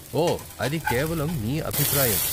ఓ, అది కేవలం నీ అభిప్రాయం!